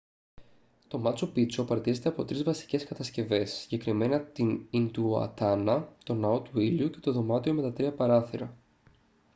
το μάτσου πίτσου απαρτίζεται από τρεις βασικές κατασκευές συγκεκριμένα την ιντιουατάνα τον ναό του ήλιου και το δωμάτιο με τα τρία παράθυρα